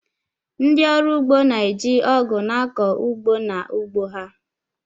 Ndị ọrụ ugbo na-eji Ọgụ na-akọ ugbo n’ugbo ha